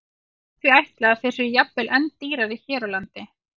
Það má því ætla að þeir séu jafnvel enn dýrari hér á landi.